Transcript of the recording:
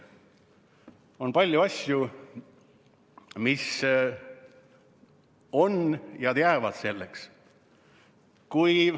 On palju asju, mis on, ja mis jäävad selleks.